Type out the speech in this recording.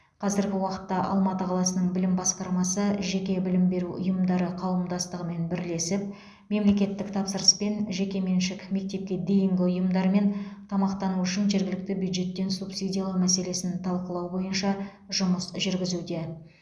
қазіргі уақытта алматы қаласының білім басқармасы жеке білім беру ұйымдары қауымдастығымен бірлесіп мемлекеттік тапсырыспен жекеменшік мектепке дейінгі ұйымдармен тамақтану үшін жергілікті бюджеттен субсидиялау мәселесін талқылау бойынша жұмыс жүргізуде